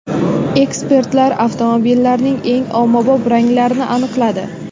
Ekspertlar avtomobillarning eng ommabop ranglarini aniqladi.